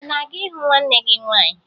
Ị na-aga ịhụ nwanne gị nwaanyị?